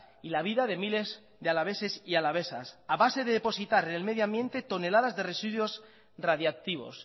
y la vida de miles de alaveses y alavesas a base de depositar en el medio ambiente toneladas de residuos radiactivos